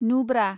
Nubra